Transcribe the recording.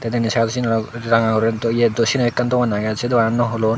tey denedi side o syen oley ranga guri do ye do syen u ekkan dogan agey sei doganan nw hulon.